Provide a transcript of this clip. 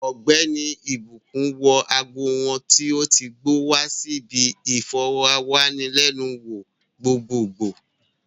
Ogbeni ìbùkún wọ ago wọn tó ti gbó wa si bi iforowanilenu wo gbogbogbo